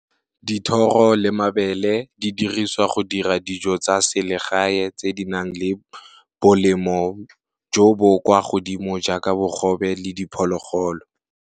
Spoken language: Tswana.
Dithoro le mabele di diriswa go dira dijo tsa selegae tse di nang le bolemo jo bo kwa godimo jaaka bogobe le diphologolo.